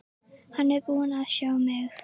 Hann er búinn að sjá mig!